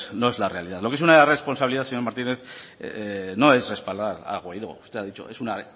no es la realidad lo que es una irresponsabilidad señor martínez no es respaldar a guaidó usted ha dicho es una